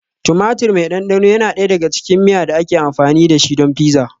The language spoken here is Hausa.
Tumatir mai ɗanɗano yana ɗaya daga cikin miya da ake amfani da shi don pizza.